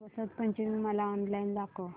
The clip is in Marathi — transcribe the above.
वसंत पंचमी मला ऑनलाइन दाखव